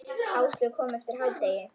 Áslaug kom eftir hádegi.